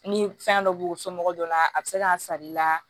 Ni fɛn dɔ b'u somɔgɔw dɔ la a bɛ se k'a sar'i la